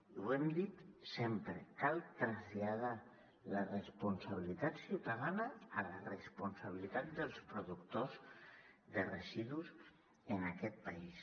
i ho hem dit sempre cal traslladar la responsabilitat ciutadana a la responsabilitat dels productors de residus en aquest país